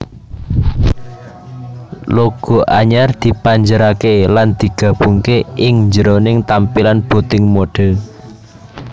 Logo anyar dipanjerake lan digabungke ing njroning tampilan booting mode